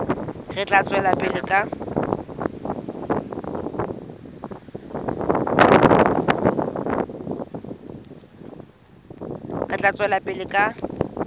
re tla tswela pele ka